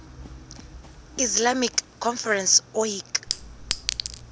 islamic conference oic